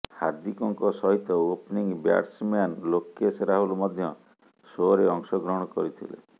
ହାର୍ଦ୍ଦିକଙ୍କ ସହିତ opening batsman Lokesh Rahul ମଧ୍ୟ ସୋରେ ଅଂଶ ଗ୍ରହଣ କରିଥିଲେ